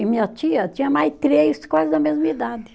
E minha tia tinha mais três, quase da mesma idade.